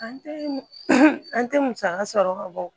An tɛ an tɛ musaka sɔrɔ ka bɔ